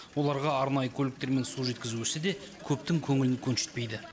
оларға арнайы көліктермен су жеткізу ісі де көптің көңілін көншітпейді